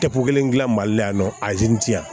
Tɛko kelen dilan mali la yan nɔ